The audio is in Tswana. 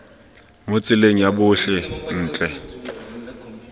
mo tseleng ya botlhe ntle